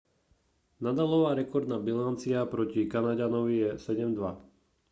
nadalova rekordná bilancia proti kanaďanovi je 7:2